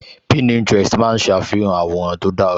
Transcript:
Pininterest máa ń ṣàfihàn àwòrán tó dára